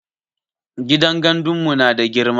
Gidan gandun mu nada girma